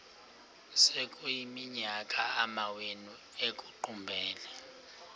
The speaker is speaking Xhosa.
sekuyiminyaka amawenu ekuqumbele